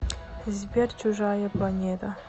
сбер чужая планета